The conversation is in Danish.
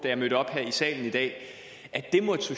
jeg mødte op her i salen i dag at det måtte